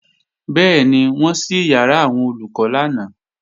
Bẹ́ẹ̀ni, wọ́n ṣí ìyàrá àwọn Olùkọ́ lánàá